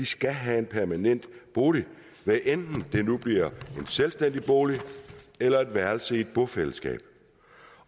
skal have en permanent bolig hvad enten det nu bliver en selvstændig bolig eller et værelse i et bofællesskab